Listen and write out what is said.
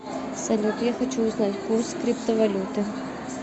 салют я хочу узнать курс криптовалюты